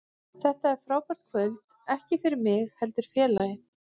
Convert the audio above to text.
Þetta er frábært kvöld, ekki fyrir mig heldur félagið.